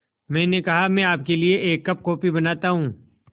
मैंने कहा मैं आपके लिए एक कप कॉफ़ी बनाता हूँ